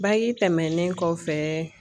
tɛmɛnen kɔfɛ.